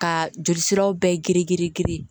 Ka joli siraw bɛɛ girin girin girin